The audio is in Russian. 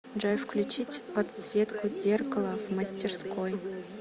джой включить подсветку зеркала в мастерской